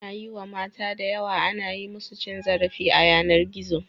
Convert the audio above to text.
Anayi wa mata da yawa ana yi musu cin zarafi a yanar gizo